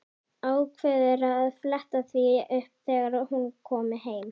Ákveður að fletta því upp þegar hún komi heim.